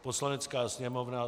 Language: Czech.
Poslanecká sněmovna